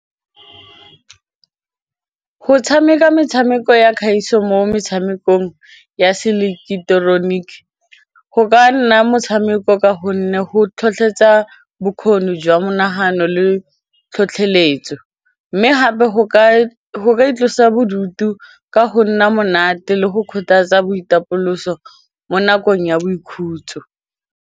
Go tshameka metshameko ya kgaiso mo metshamekong ya seileketeroniki go ka nna motshameko ka gonne go tlhotlhetsa bokgoni jwa monagano le tlhotlheletso mme gape go ka itlosa bodutu ka go nna monate le go kgothatsa boitapoloso mo nakong ya boikhutso.